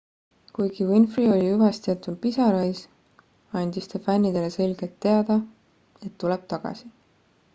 kuigi winfrey oli hüvastijätul pisarais andis ta fännidele selgelt teada et tuleb tagasi